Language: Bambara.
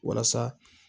Walasa